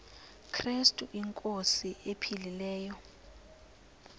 krestu inkosi ephilileyo